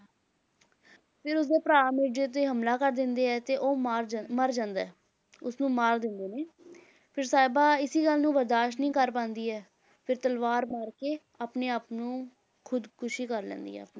ਫਿਰ ਉਸਦੇ ਭਰਾ ਮਿਰਜ਼ੇ ਤੇ ਹਮਲਾ ਕਰ ਦਿੰਦੇ ਹੈ ਤੇ ਉਹ ਮਾਰ ਜਾ~ ਮਰ ਜਾਂਦਾ ਹੈ, ਉਸਨੂੰ ਮਾਰ ਦਿੰਦੇ ਨੇ ਫਿਰ ਸਾਹਿਬਾਂ ਇਸੇ ਗੱਲ ਨੂੰ ਬਰਦਾਸ਼ਤ ਨਹੀਂ ਕਰ ਪਾਉਂਦੀ ਹੈ, ਫਿਰ ਤਲਵਾਰ ਮਾਰਕੇ ਆਪਣੇ ਆਪ ਨੂੰ ਖੁਦਕੁਸ਼ੀ ਕਰ ਲੈਂਦੀ ਹੈ ਆਪਣੇ,